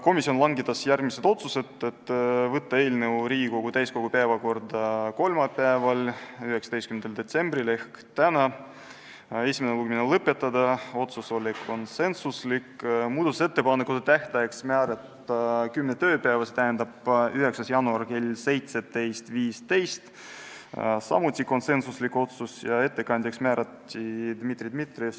Komisjon langetas järgmised otsused: saata eelnõu Riigikogu täiskogu päevakorda kolmapäevaks, 19. detsembriks ehk tänaseks, esimene lugemine lõpetada , muudatusettepanekute esitamise tähtajaks määrata 10 tööpäeva, st 9. jaanuar kell 17.15 ja ettekandjaks määrati Dmitri Dmitrijev .